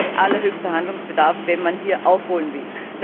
Es herrscht allerhöchster Handlungsbedarf, wenn man hier aufholen will.